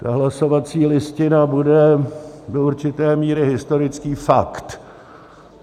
Ta hlasovací listina bude do určité míry historický fakt.